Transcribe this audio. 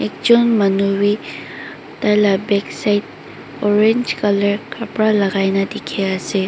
ekjun manu vi taila backside orange colour kapara lagai kina diki asae.